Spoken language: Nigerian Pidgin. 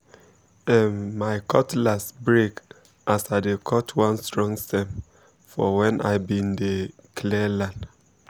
um my cutlass um break as i dey cut one strong stem for when i be um dey clear land